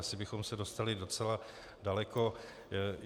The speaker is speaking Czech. Asi bychom se dostali docela daleko.